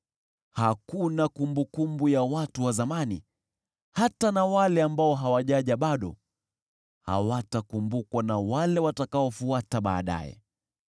Hakuna kumbukumbu ya watu wa zamani, hata na wale ambao hawajaja bado hawatakumbukwa na wale watakaofuata baadaye.